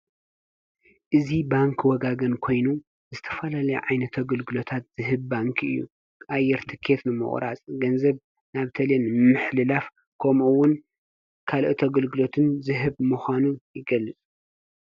እዙ ባንክ ወጋገን ኮይኑ ዝተፋላለይ ዓይነ ተግልግሎታት ዝህብ ባንኪ እዩ ኣየርትከትንመቑራጽ ገንዘብ ናብ ተልን ምሕሊላፍ ኮምውን ካል ተግልግሎትን ዝህብ መዃኑ ይገልፁ።